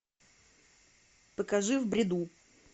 покажи в бреду